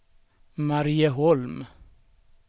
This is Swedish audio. Marieholm